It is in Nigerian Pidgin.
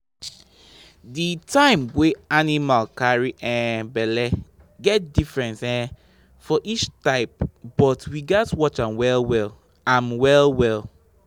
the time wey animal carry um belle dey different um for each type but we gatz watch am well well. am well well.